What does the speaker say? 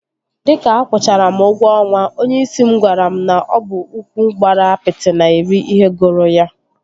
Dịka akwụchara m ụgwọ ọnwa, onyeisi m gwara m na ọ bụ ụkwụ gbara apịtị na-eri ihe gụrụ ya